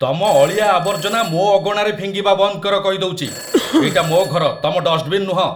ତମ ଅଳିଆଆବର୍ଜନା ମୋ ଅଗଣାରେ ଫିଙ୍ଗିବା ବନ୍ଦ କର, କହିଦଉଚି । ଏଇଟା ମୋ' ଘର, ତମ ଡଷ୍ଟବିନ୍‌ ନୁହଁ!